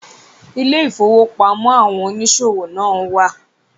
Ilé ìfọwọ́pamó àwọn oníṣòwò náà wà.